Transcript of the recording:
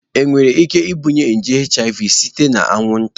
Enwere ike ibunye nje HIV site na anwụnta?